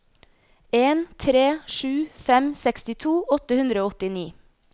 en tre sju fem sekstito åtte hundre og åttini